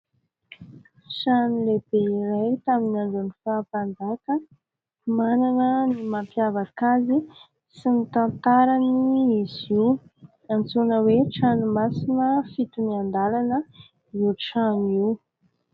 Trano lehibe iray tamin'ny andron'ny faha-mpanjaka, manana ny mampiavaka azy sy ny tantarany izy io antsoina hoe : "trano masina fito ny andalana" io trano io.